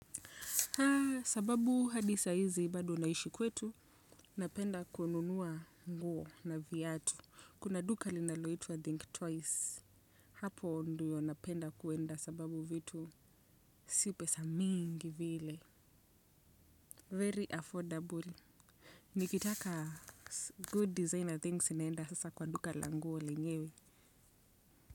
Sababu hadi saa hizi bado naishi kwetu napenda kununua nguo na viatu kuna duka linaloitwa think twice hapo ndiyo napenda kuenda sababu vitu si pesa mingi vile very affordable. Nikitaka good designer things naenda sasa kwa duka la nguo lenyewe.